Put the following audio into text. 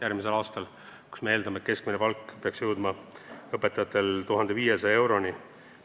Me eeldame, et õpetajate keskmine palk peaks jõudma 1500 euroni.